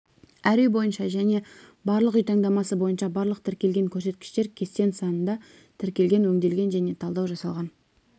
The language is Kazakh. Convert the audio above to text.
әр үй бойынша және барлық үй таңдамасы бойынша барлық тіркелген көрсеткіштер кесте нысанында тіркелген өңделген және талдау жасалған